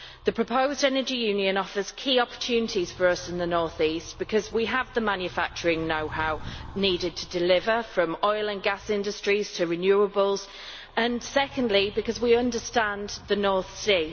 The proposed Energy Union offers key opportunities for us in the North-East, firstly because we have the manufacturing knowhow needed to deliver from oil and gas industries to renewables, and secondly because we understand the North Sea.